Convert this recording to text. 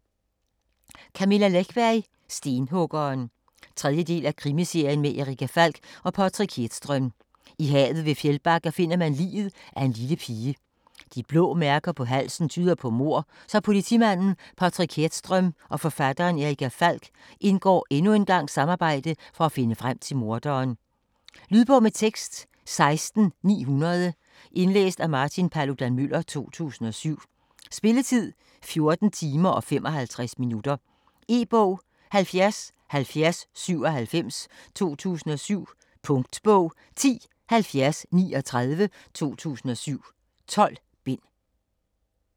Läckberg, Camilla: Stenhuggeren 3. del af Krimiserien med Erica Falck og Patrik Hedström. I havet ved Fjällbacka finder man liget af en lille pige. De blå mærker på halsen tyder på mord, så politimanden Patrick Hedström og forfatteren Erica Falch indgår endnu en gang samarbejde for at finde frem til morderen. Lydbog med tekst 16900 Indlæst af Martin Paludan-Müller, 2007. Spilletid: 14 timer, 55 minutter. E-bog 707097 2007. Punktbog 107039 2007. 12 bind.